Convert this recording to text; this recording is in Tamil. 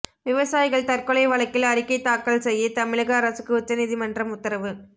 விவசாயிகள் தற்கொலை வழக்கில் அறிக்கை தாக்கல் செய்ய தமிழக அரசுக்கு உச்ச நீதிமன்றம் உத்தரவு